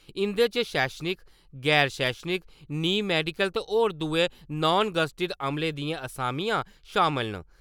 इं'दे च शैक्षणिक, गैर-शैक्षणिक, नीम मैडिकल ते होर दुए नान-गैज़ेटेड अमले दि'यां असामियां शामल न।